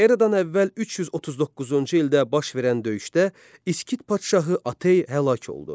Eradan əvvəl 339-cu ildə baş verən döyüşdə İskit padşahı Atey həlak oldu.